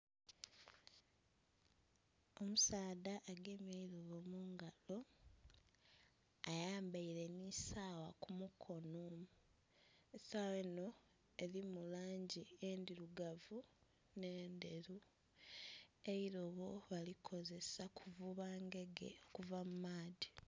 Omusaadha agemye eirobo mungalo ayambaire nhi sawa ku mukonho, esawa enho erimu langi endhirugavu nhe endheru eirobo bali kozesa kuvuba ngege okuva mu maadhi.